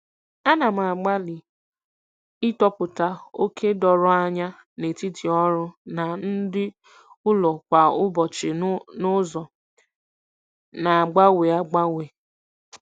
Ana m agbalị ịtọpụta oke doro anya n'etiti ọrụ na ndụ ụlọ kwa ụbọchị n'ụzọ na-agbanwe agbanwe.